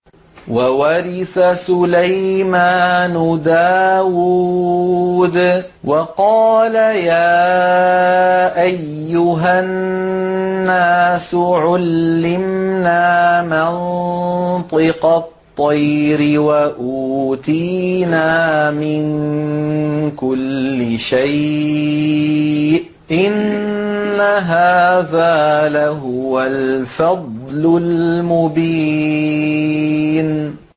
وَوَرِثَ سُلَيْمَانُ دَاوُودَ ۖ وَقَالَ يَا أَيُّهَا النَّاسُ عُلِّمْنَا مَنطِقَ الطَّيْرِ وَأُوتِينَا مِن كُلِّ شَيْءٍ ۖ إِنَّ هَٰذَا لَهُوَ الْفَضْلُ الْمُبِينُ